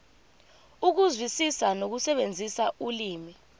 ukuzwisisa nokusebenzisa ulimi